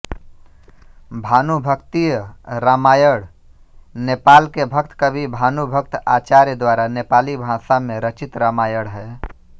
भानुभक्तीय रामायण नेपाल के भक्त कवि भानुभक्त आचार्य द्वारा नेपाली भाषा में रचित रामायण है